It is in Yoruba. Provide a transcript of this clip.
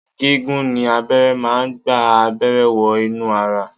Gigun ni ni abẹ́rẹ́ máa ń gba abẹ́rẹ́ wọ inú ara